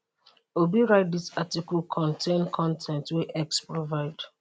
obi write dis article contain con ten t wey x provide